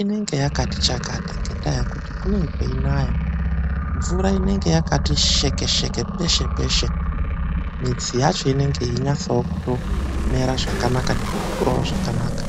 inenge yakati chakata ngendaa yekuti kunenge kuchinaya. Mvura inenge yakati sheke-sheke pese-pese midzi yacho inenge ichinasa kumera zvakanaka nekukurawo zvakanaka.